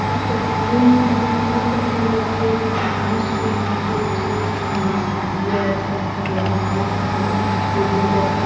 একটা বড় swimming pool দেখা যাচ্ছে কিছু মানুষ সুইমিং করছে কিছু মানুষ দাঁড়িয়ে আছে একটা বড় পাইপ দেখা যাচ্ছে সবুজ একটা--